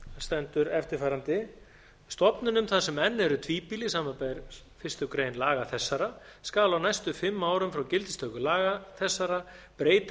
stendur eftirfarandi stofnunum þar sem enn eru tvíbýli samanber fyrstu grein laga þessara skal á næstu fimm árum frá gildistöku laga þessara breyta